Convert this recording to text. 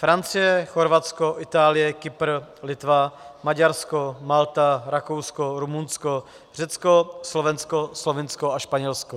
Francie, Chorvatsko, Itálie, Kypr, Litva, Maďarsko, Malta, Rakousko, Rumunsko, Řecko, Slovensko, Slovinsko a Španělsko.